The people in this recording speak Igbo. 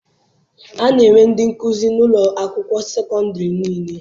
A na-enwe ndị nkụzi n'ụlọ akwụkwọ sekọndịrị niile.